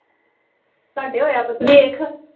ਤੁਹਾਡੇ ਹੋਇਆ ਐ ਬਦਲ